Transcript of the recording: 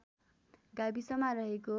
गाविसमा रहेको